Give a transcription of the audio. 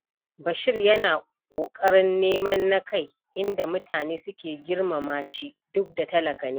Bashir yana da ƙoƙarin neman na kai, inda mutane suke girmama shi duk da talaka ne.